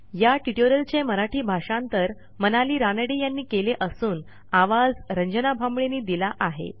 या ट्युटोरियलचे मराठी भाषांतर मनाली रानडे यांनी केले असून आवाज यांनी दिला आहे